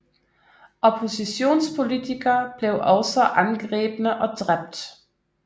Oppositionspolitikere blev også angrebne og dræbt